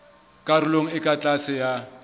karolong e ka tlase ya